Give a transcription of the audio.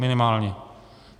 Minimálně.